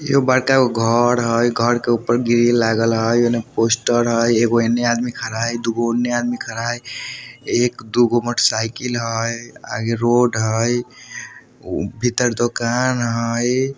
एगो बड़का गो घर हई | घर के ऊपर ग्रिल लागल हई | ओने पोस्टर हई | एगो एने आदमी खड़ा हई दुगो ओने आदमी खड़ा हई एक दुगो मोटर साइकिल हई आगे रोड हई भीतर दुकान हई।